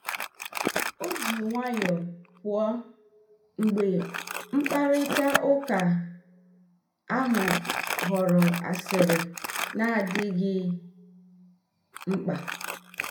O ji nwayọọ pụọ mgbe mkparịta ụka ahụ ghọrọ asịrị na-adịghị mkpa.